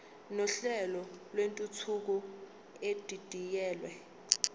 nohlelo lwentuthuko edidiyelwe